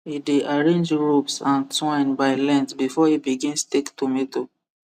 e dey arrange ropes and twine by length before he begin stake tomato